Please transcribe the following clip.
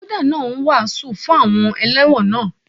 Wọ́dà náà ń wàásù fún àwọn elẹ́wọ̀n náà.